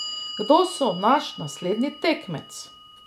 Kdo bo naš naslednji tekmec?